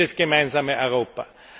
Ich bin für dieses gemeinsame Europa.